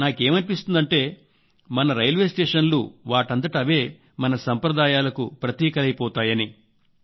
నాకేమనిపిస్తుందంటే మన రైల్వేస్టేషన్లు వాటంతట అవే మన సంప్రదాయాలకు ప్రతీకలైపోతాయని